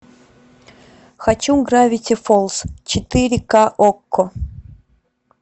хочу гравити фолз четыре к окко